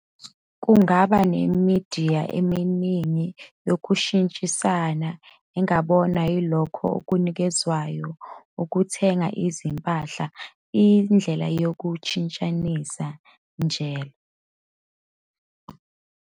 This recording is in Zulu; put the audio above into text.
Kungaba nemidiya eminingi yokushintshisana, engabonwa yilokho okunikezwayo ukuthenga izimpahla, "indlela yokushintshanisa", njll..